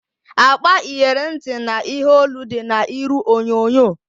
Akpa iyeri ntị na ihe olu dị na iru onyonyo